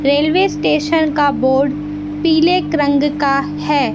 Railway station का board पीले रंग का है।